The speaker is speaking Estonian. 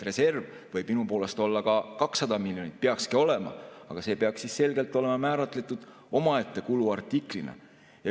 Reserv võib minu poolest olla ka 200 miljonit, peakski olema, aga see peaks selgelt olema määratletud omaette kuluartiklina.